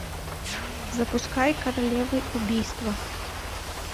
запускай королевы убийства